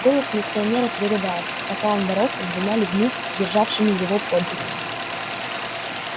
голос миссионера прерывался пока он боролся с двумя людьми державшими его под руки